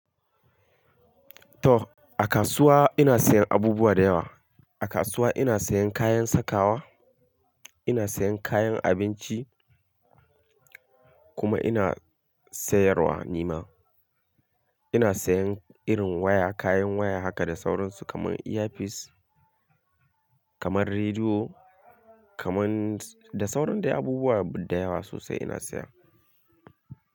To a kasuwa ina sayan abubuwa da yawa. A kasuwa ina sayan kayan sakawa, ina sayan kayan abinci kuma ina sayarwa nima. Ina sayan irin waya, kayan waya haka da saurinsu kamar earpiece, kamar rediyo, kamar da sauran abubuwa da yawa sosai ina saya.